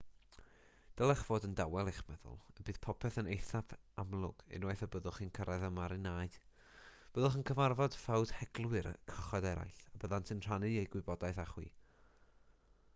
dylech fod yn dawel eich meddwl y bydd popeth yn eithaf amlwg unwaith y byddwch chi'n cyrraedd y marinâu byddwch yn cyfarfod ffawdheglwyr cychod eraill a byddant yn rhannu eu gwybodaeth gyda chi